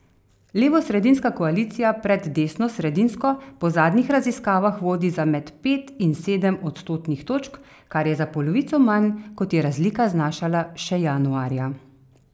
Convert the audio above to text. Levosredinska koalicija pred desnosredinsko po zadnjih raziskavah vodi za med pet in sedem odstotnih točk, kar je za polovico manj, kot je razlika znašala še januarja.